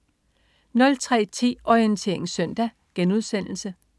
03.10 Orientering Søndag*